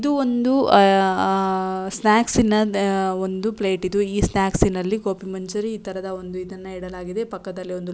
ಇದು ಒಂದು ಆಹ್ಹ್ ಆಹ್ಹ್ ಸ್ನಾಕ್ಸ್ ನ್ ಆಹ್ಹ್ ಒಂದು ಪ್ಲೇಟ್ ಇದು ಈ ಸ್ನಾಕ್ಸ್ ನಲ್ಲಿ ಘೋಬಿ ಮಂಚೂರಿ ಈ ತರದ ಒಂದು ಇದನ್ನ ಇಡಲಾಗಿದೆ ಪಕ್ಕದಲ್ಲಿ ಒಂದು--